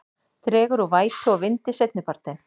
Dregur úr vætu og vindi seinnipartinn